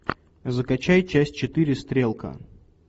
закачай часть четыре стрелка